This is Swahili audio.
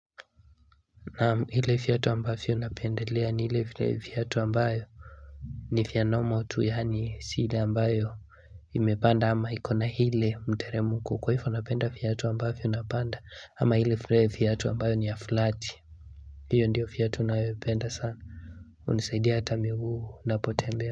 Naam ile vyatu ambavyo napendelea ni ile vyatu ambayo ni fya normal tu yani si ile ambayo imepanda ama iko na ile mteremko kwa hifo napenda fyatu ambavyo napanda ama ile fyatu ambayo ni fulati hiyo ndiyo fyatu nayopenda sana hunisaidia hata miguu napotembea.